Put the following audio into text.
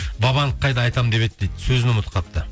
вабанк қайда айтамын деп еді дейді сөзін ұмытып қалыпты